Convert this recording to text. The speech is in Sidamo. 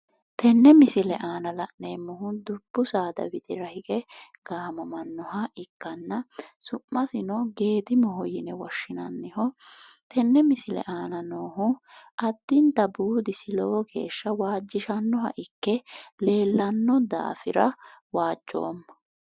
tenne misile aana la'neemmohu dubbu saada widira hige gaamamannohu ikkanna su'masino geedimoho yine woshshinaniho tenne misile aana noohu addinta buudisi lowo geeshsha waajjishannoha ikke leellanno daafira waajjoomma.